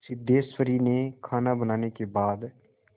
सिद्धेश्वरी ने खाना बनाने के बाद